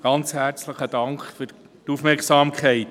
Ganz herzlichen Dank für die Aufmerksamkeit!